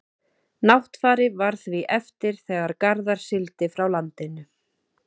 náttfari varð því eftir þegar garðar sigldi frá landinu